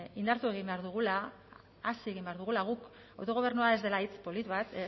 indartu egin behar dugula hazi egin behar dugula guk autogobernua ez dela hitz polit bat